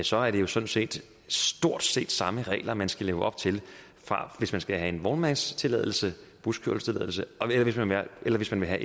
så er det jo sådan set stort set samme regler man skal leve op til hvis man skal have en vognmandenstilladelse buskørselstilladelse eller hvis man vil have